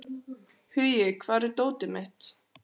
Hugi, hvar er dótið mitt?